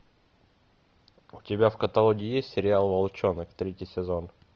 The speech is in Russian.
у тебя в каталоге есть сериал волчонок третий сезон